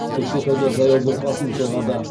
көкшетауда жаяу бұрқасын соғады